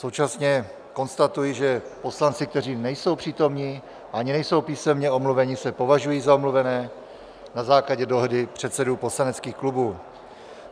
Současně konstatuji, že poslanci, kteří nejsou přítomni ani nejsou písemně omluveni, se považují za omluvené na základě dohody předsedů poslaneckých klubů.